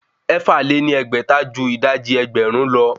Ẹ̀fà lé ní ẹgbẹ́ta ju ìdajì ẹgbẹ́rún lọ